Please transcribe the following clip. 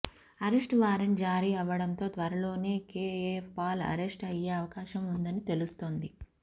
arrest warrant జారీ అవ్వడంతో త్వరలోనే కేఏపాల్ అరెస్ట్ అయ్యే అవకాశం ఉందని తెలుస్తోంది